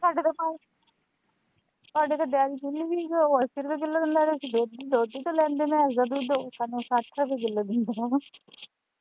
ਸਾਡੇ ਇੱਧਰ ਡੇਅਰੀ ਖੁੱਲੀ ਹੀ ਗੀ ਉਹ ਅੱਸੀ ਰੁਪਏ ਕਿੱਲੋ ਦਿੰਦਾ ਹੀ ਅਸੀਂ ਦੋਧੀ ਦੋਧੀ ਤੋਂ ਲੈਂਦੇ ਮੈਸ ਦਾ ਦੁੱਧ ਉਹ ਸਾਨੂੰ ਸੱਠ ਰੁਪਏ ਕਿੱਲੋ ਦਿੰਦਾ